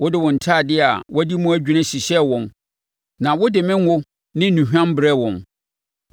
Wode wo ntadeɛ a wɔadi mu adwini hyehyɛɛ wɔn na wode me ngo ne nnuhwam brɛɛ wɔn.